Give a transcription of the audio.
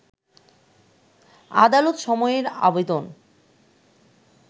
আদালত সময়ের আবেদন